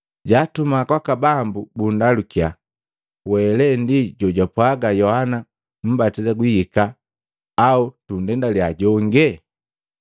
jaatuma kwaka Bambu bukundalukya, “We lee ndi jojapwaga Yohana Mmbatisa guhika, au tundendaliya jonge?”